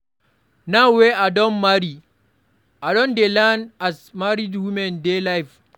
Now wey I don marry, I don dey learn as married women dey live.